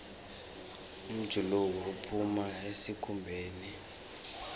umjuluko uphuma esikhumbeni